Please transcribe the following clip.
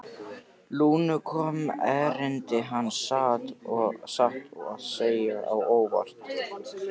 Lúnu kom erindi hans satt að segja á óvart.